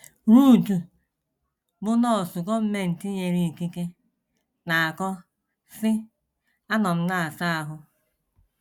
Ruth, bụ́ nọọsụ gọọmenti nyere ikike, na - akọ, sị: “ Anọ m na - asa ahụ.